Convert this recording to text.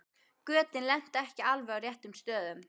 Götin lentu ekki á alveg réttum stöðum.